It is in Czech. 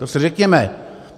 To si řekněme!